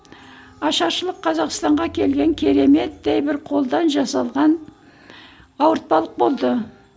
ашаршылық қазақстанға келген кереметтей бір қолдан жасалған ауыртпалық болды